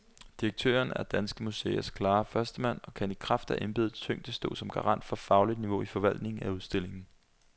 Direktøren er danske museers klare førstemand og kan i kraft af embedets tyngde stå som garant for fagligt niveau i forvaltningen af udstillingen.